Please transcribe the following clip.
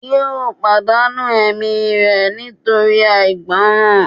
yóò pàdánù ẹ̀mí rẹ̀ nítorí àìgbọràn